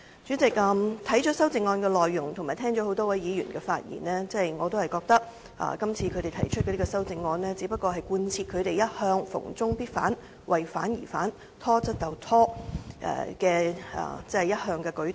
主席，讀了修正案的內容及聽了多位議員的發言後，我覺得他們今次提出修正案，只是貫徹他們一向"逢中必反"、"為反而反"、"拖得就拖"的態度。